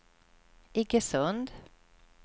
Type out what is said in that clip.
Iggesund